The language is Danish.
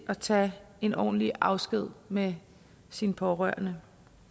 at tage en ordentlig afsked med sin pårørende